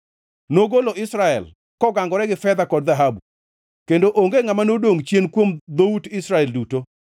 Nogolo Israel, kogangore gi fedha kod dhahabu, kendo onge ngʼama nodongʼ chien kuom dhout Israel duto.